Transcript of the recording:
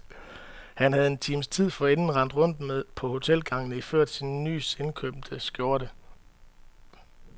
Han havde en times tid forinden rendt rundt på hotelgangene iført sin nys indkøbte skjorte.